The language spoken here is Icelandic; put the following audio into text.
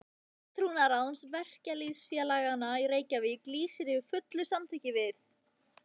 FULLTRÚARÁÐS VERKALÝÐSFÉLAGANNA Í REYKJAVÍK LÝSIR YFIR FULLU SAMÞYKKI VIÐ